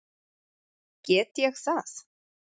Get ég það?